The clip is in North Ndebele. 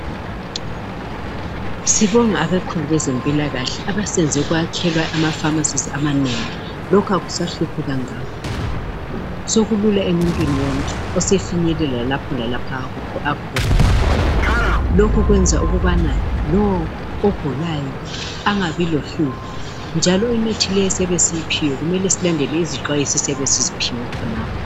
Sibonga abakhulu bezempilakahle asebeyenze kwakhiwa amapharmacies amanengi, lokhu akusahluphi kangako sokulula emuntwini wonke osefinyelela lapho lalaphaya. Lokhu kwenza ukubana lo ogulayo angabi lohlupho. Lemithi esiyithengayo kufanele silandele izixwayiso ezibhaliweyo kuleyomithi.